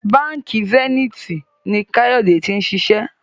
Bánkì Zenith ní Kayode t'in ṣiṣẹ